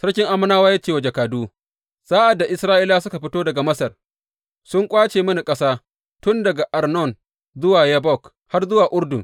Sarkin Ammonawa ya ce wa jakadu, Sa’ad da Isra’ilawa suka fito daga Masar, sun ƙwace mini ƙasa tun daga Arnon zuwa Yabbok, har zuwa Urdun.